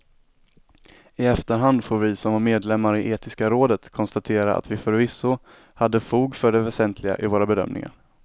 I efterhand får vi som var medlemmar i etiska rådet konstatera att vi förvisso hade fog för det väsentliga i våra bedömningar.